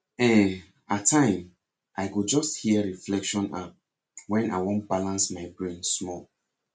ehn at time i go just hear reflection app when i wan balance my brain small